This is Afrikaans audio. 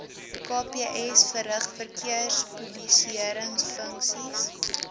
kps verrig verkeerspolisiëringfunksies